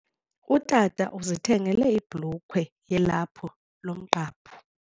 Utata uzithengele ibhulukhwe yelaphu lomqhaphu.